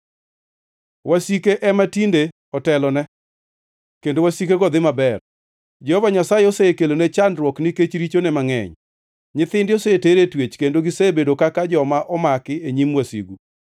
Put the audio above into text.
Wasike ema tinde otelone, kendo wasikego dhi maber. Jehova Nyasaye osekelone chandruok nikech richone mangʼeny. Nyithinde oseter e twech, kendo gisebedo kaka joma omaki e nyim wasigu.